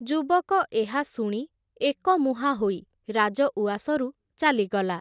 ଯୁବକ ଏହାଶୁଣି, ଏକମୁହାଁ ହୋଇ, ରାଜଉଆସରୁ ଚାଲିଗଲା ।